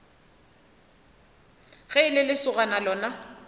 ge e le lesogana lona